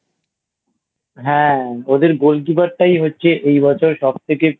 হ্যাঁ ওদের Goalkeeper টাই হচ্ছে এই বছর সবথেকে